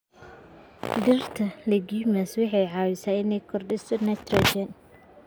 Dhirta leguminous waxay caawisaa inay kordhiso nitrogen.